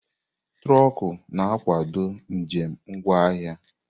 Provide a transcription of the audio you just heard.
Trọkú na-akwado njem ngwa ahịa.